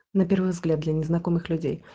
на первый взгляд для незнакомых людей